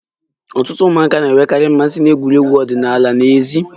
Ọtụtụ ụmụaka na-enwekarị mmasị na egwuregwu ọdịnala n'èzí